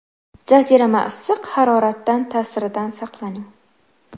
Jazirama issiq haroratdan ta’siridan saqlaning.